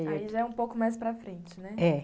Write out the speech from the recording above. Aí já é um pouco mais para frente, né? é.